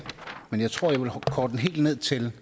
men jeg tror at jeg vil korte den helt ned til